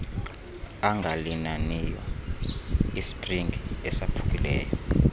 angalinaniyo isipringi esaphukileyo